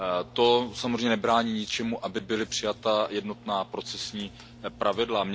To samozřejmě nebrání tomu, aby byla přijata jednotná procesní pravidla.